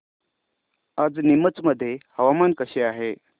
आज नीमच मध्ये हवामान कसे आहे